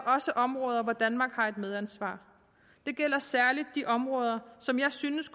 også områder hvor danmark har et medansvar det gælder særlig de områder som jeg synes